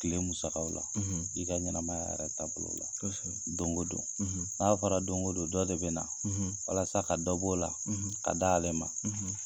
Tile musakaw la i ka ɲɛnɛmaya yɛrɛ taabolo la, kɔsɛbɛ. Doŋo don n'a fɔra doŋo don dɔ de bɛ na walasa ka dɔ b'o la, ka d'ale ma